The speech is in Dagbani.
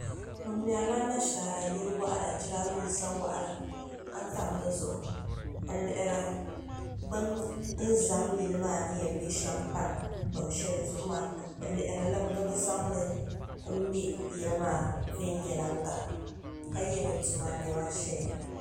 bɛ mɛri la nashara yili wɔɣila jiraaminsa wɔɣila ka tam di zuɣu n-lihiri bɛni zam yili maa ni yɛn be shɛm pa gbaŋ shɛli zuɣu maa bɛ lihiri li mi ni bɛ zaŋli m-mɛ yili maa viɛnyaliga ka ye bɛ tuma ni nema n-ʒeya.